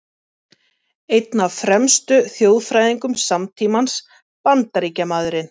Einn af fremstu þjóðfræðingum samtímans, Bandaríkjamaðurinn